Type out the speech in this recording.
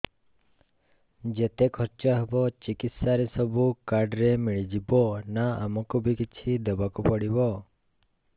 ଯେତେ ଖର୍ଚ ହେବ ଚିକିତ୍ସା ରେ ସବୁ କାର୍ଡ ରେ ମିଳିଯିବ ନା ଆମକୁ ବି କିଛି ଦବାକୁ ପଡିବ